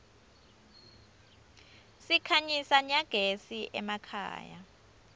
sikhanyisa nyagezi emakhaya